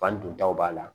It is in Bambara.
Fan don taw b'a la